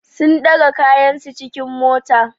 Sun ɗaga kayansu cikin mota.